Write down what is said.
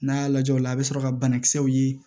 N'a y'a lajɛ o la a bɛ sɔrɔ ka banakisɛw ye